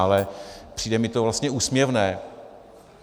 Ale přijde mi to vlastně úsměvné.